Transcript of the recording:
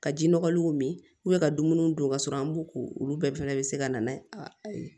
Ka ji nɔgɔlenw min ka dumuniw don ka sɔrɔ an b'u ko olu bɛɛ fana bɛ se ka na n'a ye